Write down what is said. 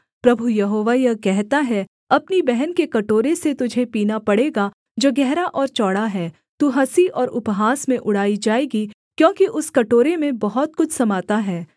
प्रभु Jehovah यह कहता है अपनी बहन के कटोरे से तुझे पीना पड़ेगा जो गहरा और चौड़ा है तू हँसी और उपहास में उड़ाई जाएगी क्योंकि उस कटोरे में बहुत कुछ समाता है